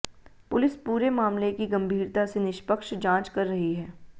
police पूरे मामले की गंभीरता से निष्पक्ष जांच कर रही है